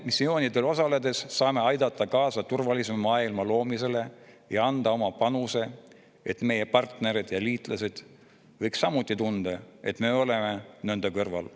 Missioonidel osaledes saame aidata kaasa turvalisema maailma loomisele ja anda oma panuse, et meie partnerid ja liitlased võiksid tunda, et me oleme nende kõrval.